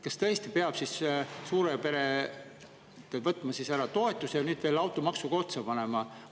Kas tõesti peab suurelt perelt toetuse ära võtma ja nüüd veel automaksu ka otsa panema?